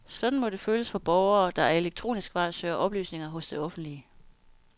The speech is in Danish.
Sådan må det føles for borgere, der ad elektronisk vej søger oplysninger hos det offentlige.